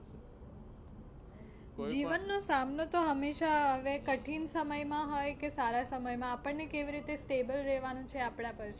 જીવન નો સામનો તો હંમેશા કઠિન સમય માં હોય કે સારા સમય માં આપણને કેવી રીતે stable રહેવાનું એ આપણા પર છે.